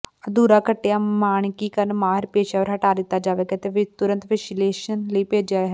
ਅਧੂਰਾ ਕੱਟਿਆ ਮਾਨਕੀਕਰਣ ਮਾਹਿਰ ਪੇਸ਼ੇਵਰ ਹਟਾ ਦਿੱਤਾ ਜਾਵੇਗਾ ਅਤੇ ਤੁਰੰਤ ਵਿਸ਼ਲੇਸ਼ਣ ਲਈ ਭੇਜਿਆ ਹੈ